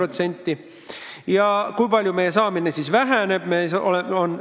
Ning kui palju siis väheneb meie saadav summa?